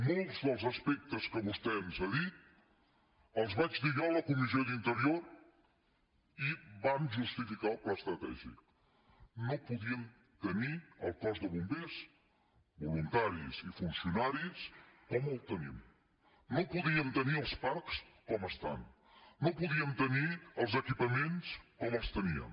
molts dels aspectes que vostè ens ha dit els vaig dir jo a la comissió d’interior i van justificar el pla estratègic no podíem tenir el cos de bombers voluntaris i funcionaris com el tenim no podíem tenir els parcs com estan no podíem tenir els equipaments com els teníem